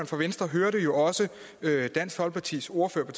for venstre hørte jo også dansk folkepartis ordfører på